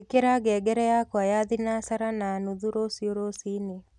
ĩkĩra ngengere yakwa ya thĩnacara na nũthũ ruciu rũcĩĩnĩ